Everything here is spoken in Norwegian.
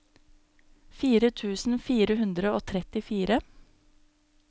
fire tusen fire hundre og trettifire